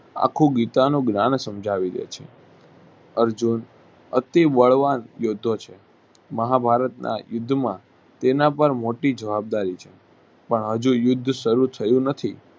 આખું ગીતાનું જ્ઞાન સમજાવી દે છે. અર્જુન અતિ બળવાન યોદ્ધા છે. મહાભારત ના યુદ્ધ માં તેનાપર મોટી જવાબ દારી છે. પણ હજુ યુદ્ધ સારું થયું નથી.